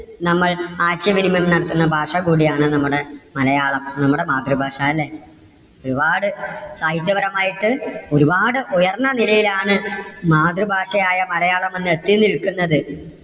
നമ്മൾ ആശയവിനിമയം നടത്തുന്ന ഭാഷ കൂടിയാണ് നമ്മടെ മലയാളം. നമ്മടെ മാതൃഭാഷ അല്ലേ? ഒരുപാട് സാഹിത്യപരമായിട്ട് ഒരുപാട് ഉയർന്ന നിരയിൽ ആണ് മാതൃഭാഷയായ മലയാളം ഇന്ന് എത്തി നിൽക്കുന്നത്.